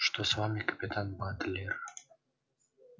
что с вами капитан батлер